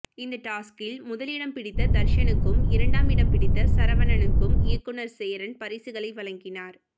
இந்த டாஸ்க்கில் முதலிடம் பிடித்த தர்ஷனுக்கும் இரண்டாம் இடம் பிடித்த சரவணனுக்கும் இயக்குநர் சேரன் பரிசுகளை வழங்கினார்